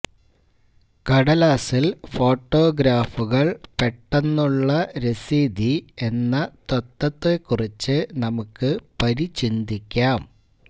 കടലാസിൽ ഫോട്ടോഗ്രാഫുകൾ പെട്ടെന്നുള്ള രസീതി എന്ന തത്വത്തെക്കുറിച്ച് നമുക്ക് പരിചിന്തിക്കാം